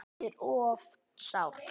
Hann er oft sár.